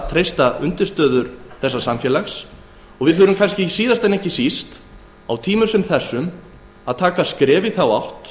treysta undirstöður samfélagsins og við þurfum kannski síðast en ekki síst á tímum sem þessum að stíga skref í þessa átt